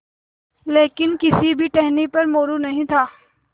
लेकिन किसी भी टहनी पर मोरू नहीं था